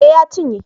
Eh ya cinye